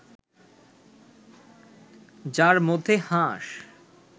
যার মধ্যে হাঁস